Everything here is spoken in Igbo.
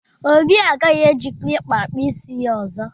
Obi ọ gaghị eji klippa kpụọ ntutu isi ya ọzọ.